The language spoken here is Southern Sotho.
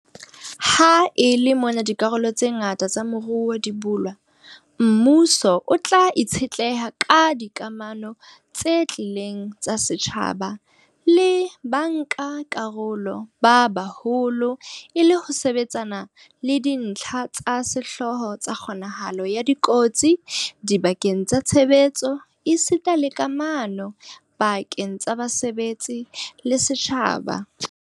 Ha e le mona dikarolo tse ngata tsa moruo di bulwa, mmuso o tla itshetleha ka dikamano tse tiileng tsa setjhaba le bankakarolo ba baholo e le ho sebetsana le dintlha tsa sehlooho tsa kgonahalo ya kotsi dibakeng tsa tshebetso esita le kamano pa-keng tsa basebetsi le setjhaba.